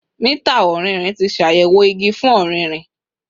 Mita ọrinrin ti ṣayẹwo igi fun ọririn